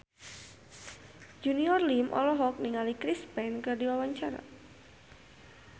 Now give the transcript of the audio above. Junior Liem olohok ningali Chris Pane keur diwawancara